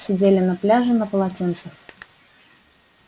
сидели на пляже на полотенцах